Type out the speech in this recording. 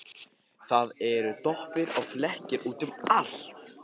Það eru doppur og flekkir út um allt.